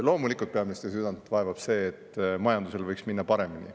Loomulikult peaministri südant vaevab see, et majandusel võiks minna paremini.